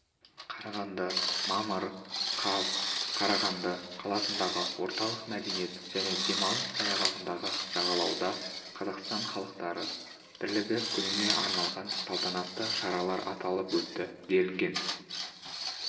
қарағанды мамыр қаз қарағанды қаласындағы орталық мәдениет және демалыс саябағындағы жағалауда қазақстан халықтары бірлігі күніне арналған салтанатты шаралар аталып өтті делінген